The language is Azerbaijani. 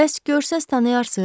Bəs görsəz tanıyarsız?